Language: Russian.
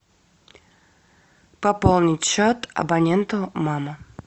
пополнить счет абоненту мама